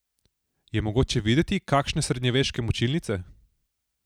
Je mogoče videti kakšne srednjeveške mučilnice?